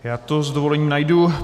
Já to s dovolením najdu.